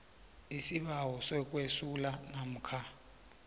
isibawo sokwesula namkha